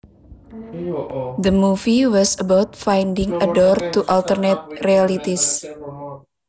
The movie was about finding a door to alternate realities